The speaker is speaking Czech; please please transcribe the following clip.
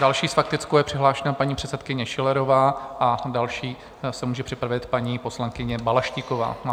Další s faktickou je přihlášena paní předsedkyně Schillerová a další se může připravit paní poslankyně Balaštíková.